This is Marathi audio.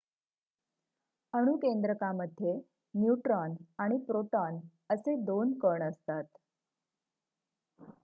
अणुकेंद्रकामध्ये न्यूट्रॉन आणि प्रोटॉन असे 2 कण असतात